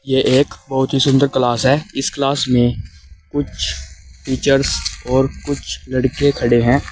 ये एक बहोत ही सुंदर क्लास है इस क्लास में कुछ टीचर्स और कुछ लड़के खड़े हैं।